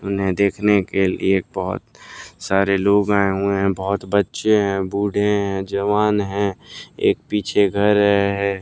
उन्हें देखने के लिए बहुत सारे लोग आए हुए हैं बहुत बच्चे हैं बूढ़े हैं जवान हैं एक पीछे घर है।